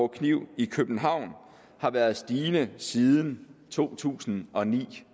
kniv i københavn har været stigende siden to tusind og ni